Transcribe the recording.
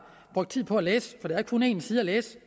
brugt tid på at læse for der er kun en side at læse